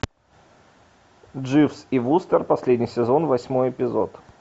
дживс и вустер последний сезон восьмой эпизод